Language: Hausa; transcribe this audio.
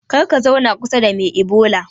Karka zauna kusa da me ibola